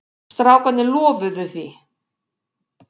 Strákarnir lofuðu því.